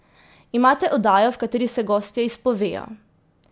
Imate oddajo, v kateri se gostje izpovejo.